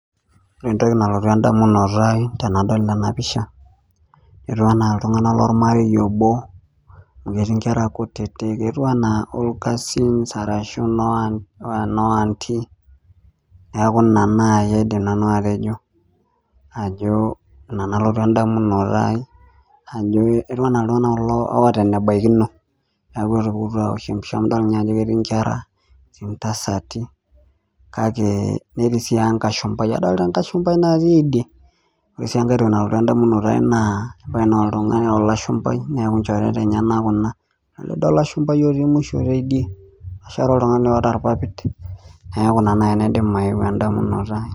Ore entoki nalotu endamunoto ai tenadol ena pisha etu enaa iltung'anak lormarei obo amu ketii inkera kutitik etu anaa all cousins arashu inoo aunty niaku ina naai nanu aidim atejo ajo ina nalotu endamunoto ai ajo etu anaa iltung'anak kulo oota enebaikino niaku etupukutuo awosh empisha amu idol ninye ajo ketii inkera etii intasati kake netii sii enkashumpai adolita enkashumpai natii idie ore sii enkae toki nalotu endamunoto ai naa ebaiki noltung'ani olashumpai neeku inchoreta enyenak kuna lelido olashumpai otii musho tidie etashare oltung'ani oota irpapit neeku ina naai naidim aeu endamunoto ai.